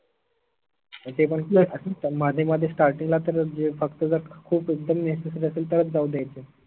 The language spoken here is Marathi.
ते पन morning मध्ये starting ला तर म्हनजे फक्त जर खूप एकदम necessary असेल तरच जाऊ द्यायचे.